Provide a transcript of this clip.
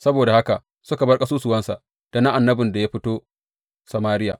Saboda haka suka bar kasusuwansa, da na annabin da ya fito Samariya.